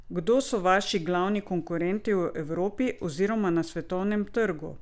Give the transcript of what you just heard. Kdo so vaši glavni konkurenti v Evropi oziroma na svetovnem trgu?